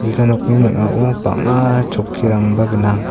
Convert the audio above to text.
ja nokni ning·ao bang·a chokkirangba gnang.